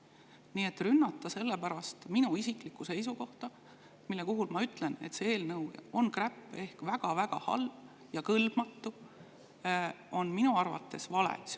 Nii et rünnata sellepärast minu isiklikku seisukohta, et ma ütlen, et see eelnõu on kräpp ehk väga-väga halb ja kõlbmatu, on minu arvates vale.